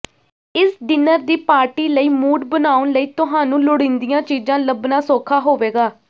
ਇਸ ਡਿਨਰ ਦੀ ਪਾਰਟੀ ਲਈ ਮੂਡ ਬਣਾਉਣ ਲਈ ਤੁਹਾਨੂੰ ਲੋੜੀਂਦੀਆਂ ਚੀਜ਼ਾਂ ਲੱਭਣਾ ਸੌਖਾ ਹੋਵੇਗਾ